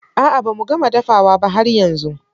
A'a ba mu gama dafawa ba har yanzun.